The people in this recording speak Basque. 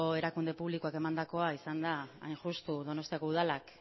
erakunde publikoek emandakoa izan da hain justu donostiako udalak